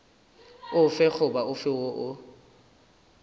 ofe goba ofe woo o